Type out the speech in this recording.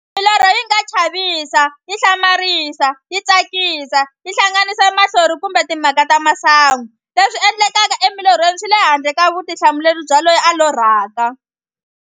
Milorho yinga chavisa, yihlamarisa, yitsakisa, yihlanganisa mahlori kumbe timhaka ta masangu. Leswi endlekaka e milorhweni swile handle ka vutihlamuleri bya loyi a lorhaka.